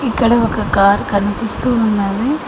ఇక్కడ ఒక కార్ కనిపిస్తూ ఉన్నది